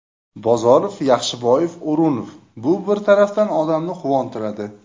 Bozorov, Yaxshiboyev, O‘runov... Bu bir tarafdan odamni quvontiradi.